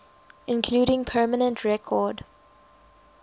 including permanent record